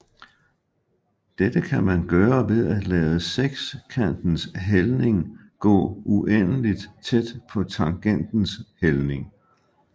Dette kan man gøre ved at lade sekantens hældning gå uendeligt tæt på tangents hældning